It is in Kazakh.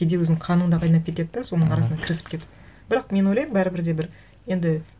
кейде өзіңнің қаның да қайнап кетеді де соның арасына кірісіп кетіп бірақ мен ойлаймын бәрібір де бір енді